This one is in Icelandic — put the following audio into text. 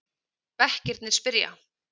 Bekkirnir spyrja!